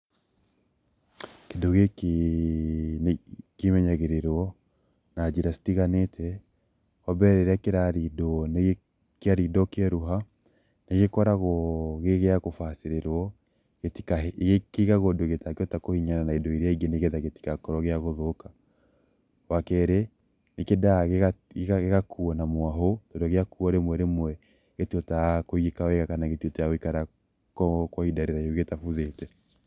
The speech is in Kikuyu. Kĩndũ gĩkĩ kĩmenyagĩrĩrwo na njĩra citiganĩte, wa mbere rĩrĩa kĩrarindwo, kĩarindwo kĩeruha, nĩ gĩkoragwo gĩ gĩa gũbacĩrĩrwo, kĩigagwo ũndũ gĩtangĩhota kũhihinyana na indo iria ingĩ nĩgetha gĩtigakorwo gĩa gũthũka. Wa kerĩ nĩ kĩendaga gĩgakuo na mwahũ tondũ gĩakuo rĩmwe rĩmwe gĩtihotaga kũigĩka wega na gĩtihotaga gũikara kwa ihinda rĩraihu gĩtabuthĩte.